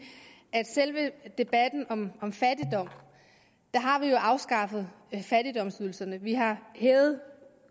at selve debatten om om fattigdom har vi jo afskaffet fattigdomsydelserne vi har hævet